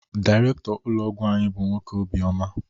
Dairekto ụlọ ọgwụ anyị bụ nwoke obi oma